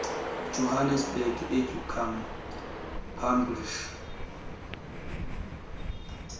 johannesburg educum publishers